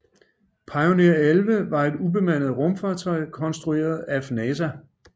Pioneer 11 var et ubemandet rumfartøj konstrueret af NASA